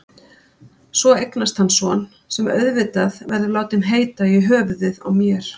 Svo eignast hann son, sem auðvitað verður látinn heita í höfuðið á mér.